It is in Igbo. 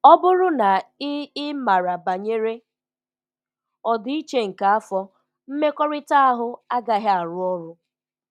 Ọ bụrụ na ị ị mara banyere ọdịiche nke afọ, mmekọrịta ahụ agaghị arụ ọrụ.